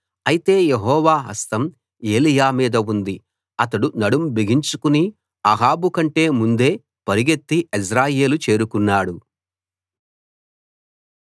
అయితే యెహోవా హస్తం ఏలీయా మీద ఉంది అతడు నడుం బిగించుకుని అహాబు కంటే ముందే పరుగెత్తి యెజ్రెయేలు చేరుకున్నాడు